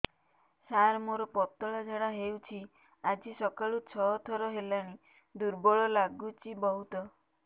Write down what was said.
ସାର ମୋର ପତଳା ଝାଡା ହେଉଛି ଆଜି ସକାଳୁ ଛଅ ଥର ହେଲାଣି ଦୁର୍ବଳ ଲାଗୁଚି ବହୁତ